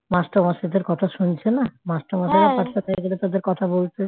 master মশাইদের কথা শুনছে না মাস্টার মশাইরা পাঠশালায় গেলে তাদের কথা বলতে